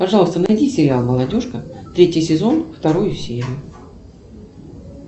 пожалуйста найди сериал молодежка третий сезон вторую серию